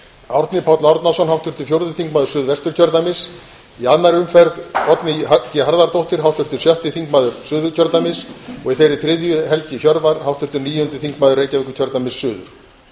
árni páll árnason háttvirtur fjórði þingmaður suðvesturkjördæmis í annarri umferð oddný g harðardóttir háttvirtur sjötti þingmaður suðurkjördæmis og í þeirri þriðju helgi hjörvar háttvirtur níundi þingmaður reykjavíkurkjördæmis suður